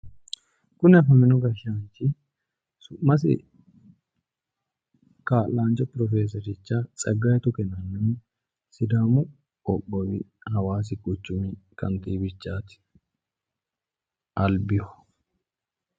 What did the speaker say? Kuni afamino gashaanchi Su'masi Kaa'lancho Profesericho Tsegaye Tuke yinaniho sidaamu qoqowi Hawaasi Quchumi Katiwati albiho.